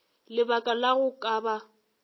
lebaka la go ka ba